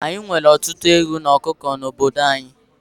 Ányi nwere ọtụtụ ewu na ọkụkọ n'obodo anyị